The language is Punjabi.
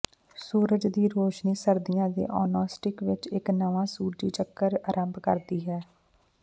ਸੂਰਜ ਦੀ ਰੋਸ਼ਨੀ ਸਰਦੀਆਂ ਦੇ ਅਨੌਂਸਟੀਕ ਵਿੱਚ ਇੱਕ ਨਵਾਂ ਸੂਰਜੀ ਚੱਕਰ ਅਰੰਭ ਕਰਦੀ ਹੈ